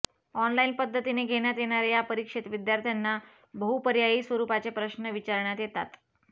online पद्धतीने घेण्यात येणाऱ्या या परीक्षेत विद्यार्थ्यांना बहुपर्यायी स्वरुपाचे प्रश्न विचारण्यात येतात